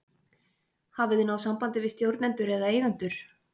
Hafið þið náð sambandi við stjórnendur eða eigendur?